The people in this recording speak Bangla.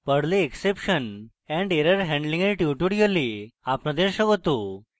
perl এ exception and error handling error tutorial আপনাদের স্বাগত